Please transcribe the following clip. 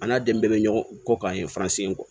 A n'a den bɛɛ bɛ ɲɔgɔn kɔ ka ye faransi ko